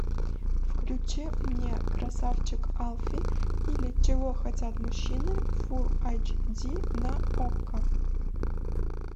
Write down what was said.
включи мне красавчик алфи или чего хотят мужчины фулл айч ди на окко